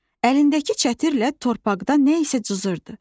Əlindəki çətirlə torpaqda nə isə cızırdı.